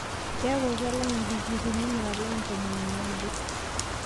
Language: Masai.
keeku kelang' indikiriini naalang' ntomoni naudo